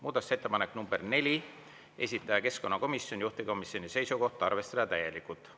Muudatusettepanek nr 4, esitaja keskkonnakomisjon, juhtivkomisjoni seisukoht: arvestada täielikult.